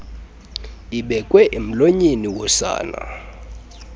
ibekwe emlonyeni wosana